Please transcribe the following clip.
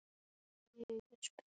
Þín dóttir, Alma.